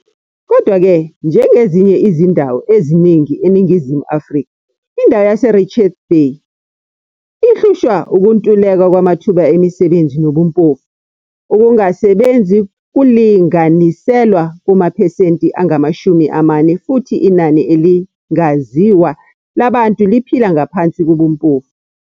Kodwa-ke, njengezinye izindawo eziningi eNingizimu Afrika, indawo yaseRichards Bay ihlushwa ukuntuleka kwamathuba emisebenzi nobumpofu. Ukungasebenzi kulinganiselwa kumaphesenti angamashumi amane futhi inani elingaziwa labantu liphila ngaphansi kobumpofu.